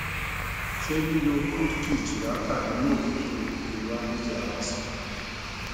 se lilo kutki chirata inu ofifo le wo allergy ara san